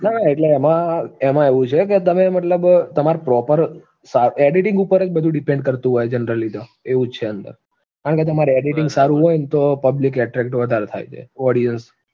ના એટલે એમાં, એમાં એવું છે કે તમે મતલબ તમાર proper editing ઉપર જ બધું depend કરતું હોય generally તો, એવું જ છે એમ તો કારણ કે તમારું editing સારું હોય ન તો public attract વધારે થાય છે audience